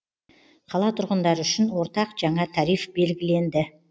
қала тұрғындары үшін ортақ жаңа тариф белгіленді